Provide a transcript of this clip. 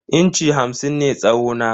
Inci hamsin ne tsawo na.